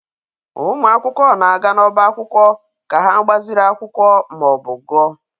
Ụmụ akwụkwọ na-aga n'ọbá akwụkwọ ka ha gbaziri akwụkwọ ma ọ bụ gụọ.